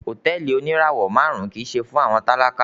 Hotẹẹli onirawọ màrun kii ṣe fun awọn talaka